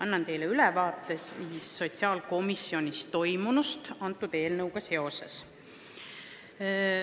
Annan teile ülevaate sotsiaalkomisjonis selle eelnõuga seoses toimunust.